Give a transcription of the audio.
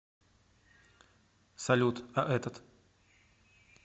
салют а этот